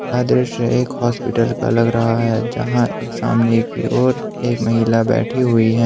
यह दृश्य एक हॉस्पिटल का लग रहा है जहां एक सामने की ओर एक महिला बैठी हुई है।